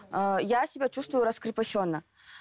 ыыы я себя чувствую раскрепощенно